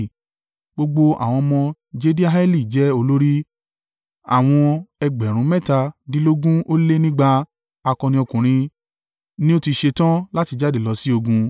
Gbogbo àwọn ọmọ Jediaeli jẹ́ olórí. Àwọn ẹgbẹ̀rún mẹ́tàdínlógún ó lé nígba (17,200) akọni ọkùnrin ni ó ti ṣetán láti jáde lọ sí ogun.